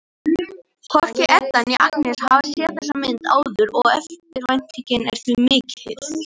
Hvorki Edda né Agnes hafa séð þessa mynd áður og eftirvæntingin er því mikill.